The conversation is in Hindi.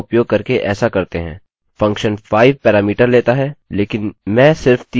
फंक्शन 5 पैरामीटर लेता है लेकिन में सिर्फ 3 का उपयोग करूँगा